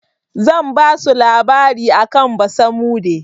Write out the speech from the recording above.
Zan basu labari akan basamude.